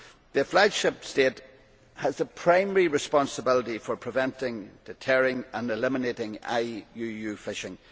The flag ship state has the primary responsibility for preventing, deterring and eliminating IUU fishing.